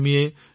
ধন্যবাদ ভাই